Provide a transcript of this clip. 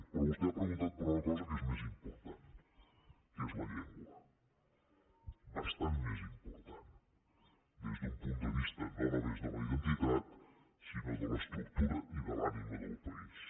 però vostè ha preguntat per una cosa més important que és la llengua bastant més important des d’un punt de vista no només de la identitat sinó de l’estructura i de l’ànima del país